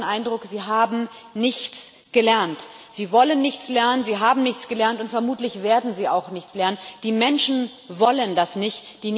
Ich habe den Eindruck, Sie haben nichts gelernt, Sie wollen nichts lernen, Sie haben nichts gelernt und vermutlich werden Sie auch nichts lernen Die Menschen wollen das nicht